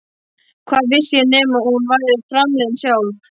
Hvað vissi ég nema hún væri framliðin sjálf?